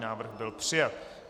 Návrh byl přijat.